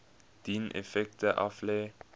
dien effekte aflê